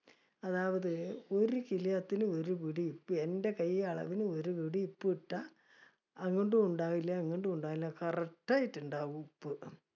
അതായത്, ഒരു കിലോ kilo ത്തിന് ഒരു പിടി ഉപ്പ്, എന്റെ കൈ അളവിന് ഒരു പിടി ഉപ്പിട്ടാൽ അങ്ങോട്ടും ഉണ്ടാവില്ല, ഇങ്ങോട്ടും ഉണ്ടാവില്ല correct ആയിട്ട് ഉണ്ടാവും ഉപ്പ്.